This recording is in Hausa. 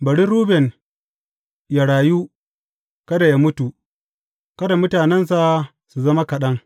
Bari Ruben yă rayu, kada yă mutu, kada mutanensa su zama kaɗan.